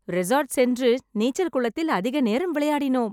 Resort சென்று நீச்சல் குளத்தில் அதிக நேரம் விளையாடினோம்.